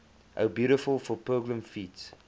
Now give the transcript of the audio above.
o beautiful for pilgrim feet